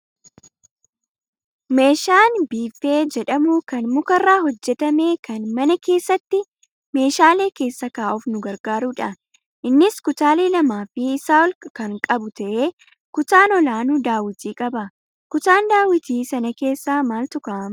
Meeshaan biiffee jedhamu kan mukarraa hojjatame kan mana keessatti meeshaalee keessa kaa'uuf nu gargaarudha. Innis kutaalee lamaa fi isaa ol kan qabu ta'ee kutaan olaanu daawwitii qaba. Kutaan daawwitii sana keessa maaltu kaa'amaa?